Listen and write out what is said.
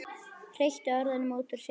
Hreytti orðunum út úr sér.